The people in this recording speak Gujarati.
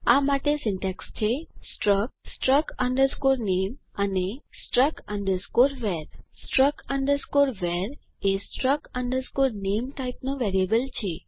આ માટે સીન્ટેક્ષ છે સ્ટ્રક્ટ struct name અને struct var struct var એ struc name ટાઇપ નો વેરિયેબલ છે